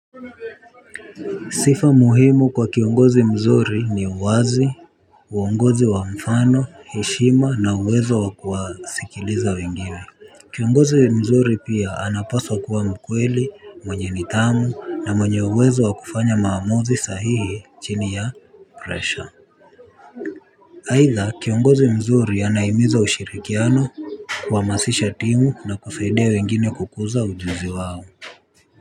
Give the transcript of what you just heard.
Sifa muhimu kwa kiongozi mzuri ni uwazi, uongozi wa mfano, heshima na uwezo wakuwa sikiliza wengine. Kiongozi mzuri pia anapawaa kuwa mkweli mwenye nidhamu na mwenye uwezo wakufanya maamuzi sahihi chini ya pressure aidha kiongozi mzuri anahimiza ushirikiano kuhamasisha timu na kusaidia wengine kukuza ujuzi wao.